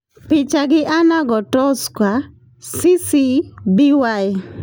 Picha gi Anna Gotowska, CC-BY.